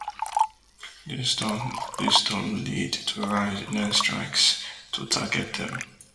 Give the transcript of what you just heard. dis don dis don lead to rise in air strikes to target dem